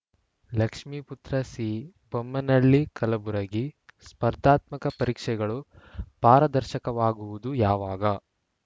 Lakshmiputra C Bammanalli Kalaburagi ಸ್ಪರ್ಧಾತ್ಮಕ ಪರೀಕ್ಷೆಗಳು ಪಾರದರ್ಶಕವಾಗುವುದು ಯಾವಾಗ